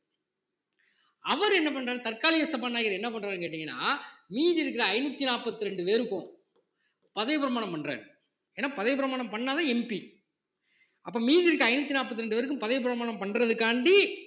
அவர் என்ன பண்றாரு தற்காலிக சபாநாயகர் என்ன பண்றாருன்னு கேட்டீங்கன்னா மீதி இருக்கிற ஐந்நூத்தி நாற்பத்தி இரண்டு பேருக்கும் பதவி பிரமாணம் பண்றாரு ஏன்னா பதவிப் பிரமாணம் பண்ணா தான் MP அப்போ மீதி இருக்கிற ஐந்நூத்தி நாற்பத்தி இரண்டு பேருக்கும் பதவிப் பிரமாணம் பண்றதுக்காண்டி